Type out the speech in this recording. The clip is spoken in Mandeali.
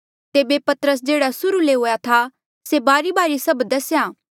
तेबे पतरसे जेह्ड़ा सुर्हू ले हुआ से बारीबारी सब दसेया